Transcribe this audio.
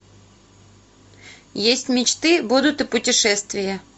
есть мечты будут и путешествия